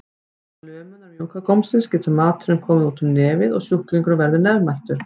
Vegna lömunar mjúka gómsins getur maturinn komið út um nefið og sjúklingurinn verður nefmæltur.